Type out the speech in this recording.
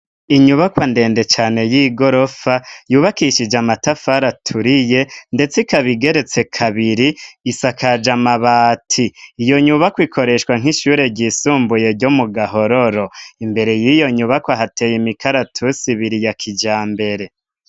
Inyubakwa ndende cane y'igorofa yubakishije amatafari aturiye ndetse ikabigeretse kabiri isakaje amabati iyo nyubako ikoreshwa nk'ishure ryisumbuye ryo mu gahororo imbere y'iyo nyubako hateye imikaratusi ibiri ya kijabembere.